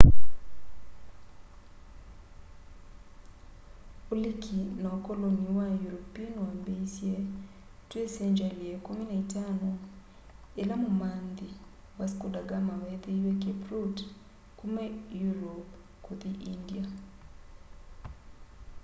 uliki na ukoloni wa european wambiisye twi sengyali ya ikumu na itano ila mumanthi vasco da gama wethiie cape route kuma europe kuthi india